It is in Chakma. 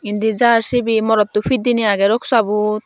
indi jar sibey morotto pit dinei agey roksabun.